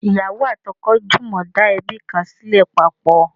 ìyàwó ati oko jumọ da ebi kan sile papọ